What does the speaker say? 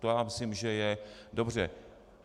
To já myslím, že je dobře.